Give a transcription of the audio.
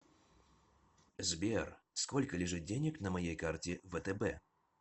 сбер сколько лежит денег на моей карте втб